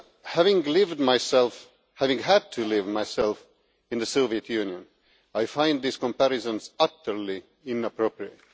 Having lived myself having had to live myself in the Soviet Union, I find these comparisons utterly inappropriate.